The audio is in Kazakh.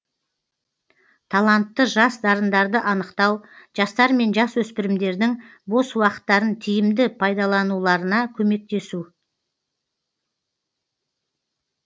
талантты жас дарындарды анықтау жастар мен жасөспірімдердің бос уақыттарын тиімді пайдалануларына көмектесу